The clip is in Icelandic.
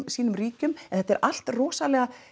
sínum ríkjum en þetta er allt rosalega